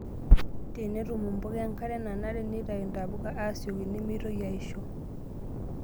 Tenemetum mpuka enkare nanare, neitayu ntapuka aasioki nemeitoki aaisho.